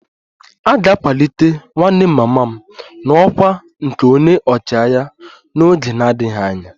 A ga-akwalite nwanne mama m n'ọkwá nke onye ọchịagha n'oge na-adịghị anya